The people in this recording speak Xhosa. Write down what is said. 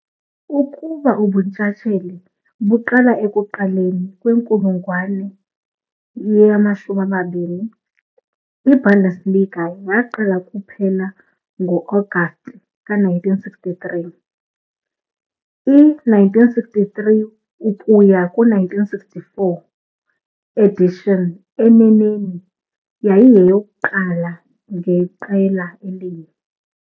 Ukuba ubuntshatsheli buqala ekuqaleni kwenkulungwane ye-20, i-Bundesliga yaqala kuphela ngo-Agasti 1963- i- 1963-1964 edition, eneneni, yayiyeyokuqala ngeqela elinye.